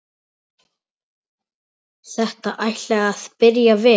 Þetta ætlaði að byrja vel!